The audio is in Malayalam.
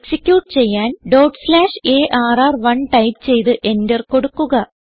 എക്സിക്യൂട്ട് ചെയ്യാൻ ഡോട്ട് സ്ലാഷ് ആർ1 ടൈപ്പ് ചെയ്ത് എന്റർ കൊടുക്കുക